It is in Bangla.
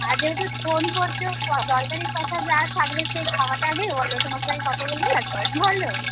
আগে হচ্ছে phone করছ দরকারি কথা যা থাকবে সেই খাওয়াটা আগে হলো তোমার সঙ্গে আমি কথা বলি তারপর বল